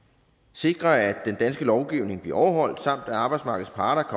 sikre at den danske lovgivning bliver overholdt samt at arbejdsmarkedets parter